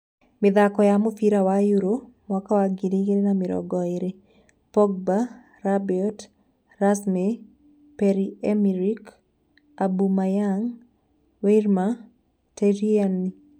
Mĩthako ya mũbira wa Euro 2020: Pogba, Rabiot, Ramsey, Pierre-Emerick Aubameyang, Werner, Tierney